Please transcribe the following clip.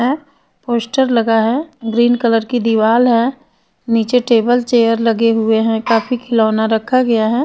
अ poster लगा है green colour की दीवार है निचे टेबल चेयर लगे हुए है काफी खिलौना रखा गया है.